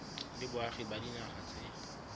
le boagi ba dinaga tse